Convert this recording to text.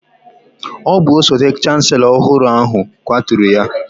Ọ bụ osote chancelo ọhụrụ ahụ kwaturu ya.